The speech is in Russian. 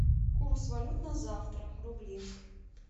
курс валют на завтра рубли